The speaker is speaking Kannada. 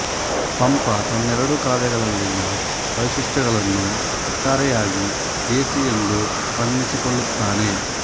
ಪಂಪ ತನ್ನೆರಡೂ ಕಾವ್ಯಗಳಲ್ಲಿನ ವೈಶಿಷ್ಟ್ಯಗಳನ್ನು ಒಟ್ಟಾರೆಯಾಗಿ ದೇಸಿ ಎಂದು ಬಣ್ಣಿಸಿಕೊಳ್ಳುತ್ತಾನೆ